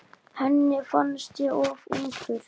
Henni fannst ég of ungur.